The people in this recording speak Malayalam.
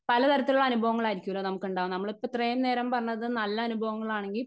സ്പീക്കർ 1 പലതരത്തിലുള്ള അനുഭവങ്ങളായിരിക്കുവല്ലോ നമുക്കുണ്ടാവുക. നമ്മൾ ഇപ്പ ഇത്രേം നേരം പറഞ്ഞത് നല്ല അനുഭവങ്ങളാണെങ്കിൽ.